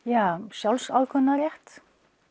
sjálfsákvörðunarrétt